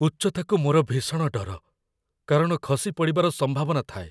ଉଚ୍ଚତାକୁ ମୋର ଭୀଷଣ ଡର, କାରଣ ଖସିପଡ଼ିବାର ସମ୍ଭାବନା ଥାଏ।